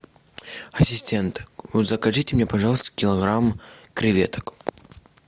ассистент закажите мне пожалуйста килограмм креветок